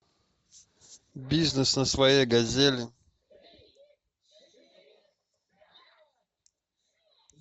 бизнес на своей газели